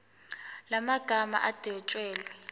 la magama adwetshelwe